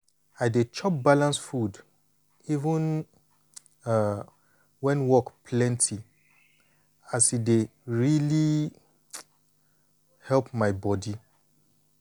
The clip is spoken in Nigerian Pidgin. i dey chop balanced food even um when work plenty as e dey really um help my body.